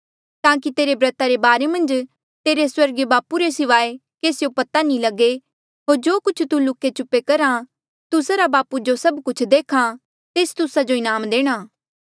ताकि तेरे ब्रता रे बारे मन्झ तेरे स्वर्गीय बापू रे सिवाए केसियो पता नी लगे होर जो तू जो लुके छुपे करहा तुस्सा रा बापू जो सब कुछ देख्हा तेस तुस्सा जो इनाम देणा